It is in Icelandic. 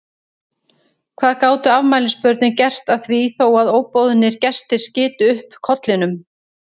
Hvað gátu afmælisbörnin gert að því þó að óboðnir gestir skytu upp kollinum?